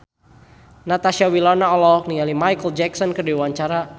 Natasha Wilona olohok ningali Micheal Jackson keur diwawancara